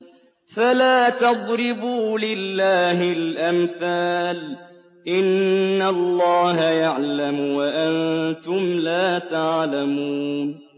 فَلَا تَضْرِبُوا لِلَّهِ الْأَمْثَالَ ۚ إِنَّ اللَّهَ يَعْلَمُ وَأَنتُمْ لَا تَعْلَمُونَ